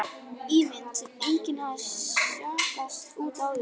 Ímynd sem enginn hafði jaskað út áður.